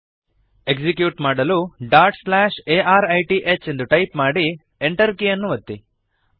execute ಮಾಡಲು dot slash arith dot slash A R I T H ಎಂದು type ಮಾಡಿ enter ಕೀಯನ್ನು ಒತ್ತಿ